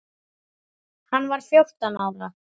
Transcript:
Hann var fjórtán ára.